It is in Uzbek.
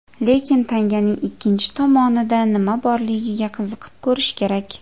Lekin tanganing ikkinchi tomonida nima borligiga qiziqib ko‘rish kerak.